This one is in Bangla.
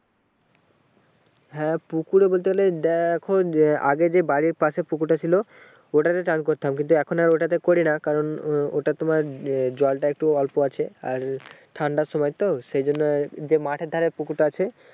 হ্যাঁ ওপুকুরে বলতে গেলে এই দেখো যে আগে যে বাড়ির পশে পুকুর তা ছিল ওটাতে চান করতাম কিন্তু এখন আর ওইটাতে করিনা কারণ ও এটা তোমার জলটা একটু অল্প আছে আর ঠান্ডা সময় তো সেই জন্য যে মাঠের ধারে পুকুর তা আছে